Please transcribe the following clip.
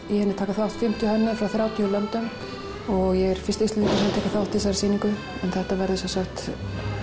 í henni taka þátt fimmtíu hönnuðir frá þrjátíu löndum og ég er fyrsti Íslendingurinn sem tekur þátt í þessari sýningu en þetta verður sem sagt